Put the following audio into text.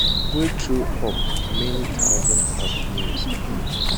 wey throw up many thousands of names um